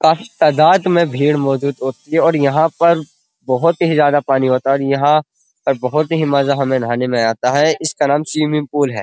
काफी तादात में भीड़ मौजूद होती है और यहाँ पर बोहोत ही ज्यादा पानी होती है और यह बोहोत ही मज़ा हमें नाहने में आता है। इसका नाम स्वमिंग पुल है।